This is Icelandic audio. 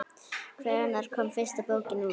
Hvenær kom fyrsta bókin út?